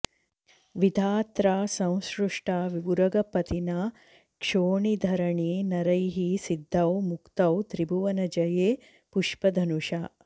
विधात्रा संसृष्टावुरगपतिना क्षोणिधरणे नरैः सिद्धौ मुक्तौ त्रिभुवनजये पुष्पधनुषा